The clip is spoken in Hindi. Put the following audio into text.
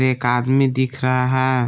एक आदमी दिख रहा है।